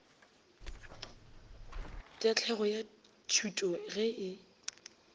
tahlegelo ya tšhuto ge e